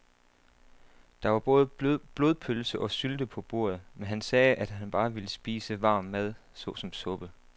Der var både blodpølse og sylte på bordet, men han sagde, at han bare ville spise varm mad såsom suppe.